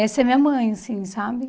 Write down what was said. Essa é minha mãe, assim, sabe?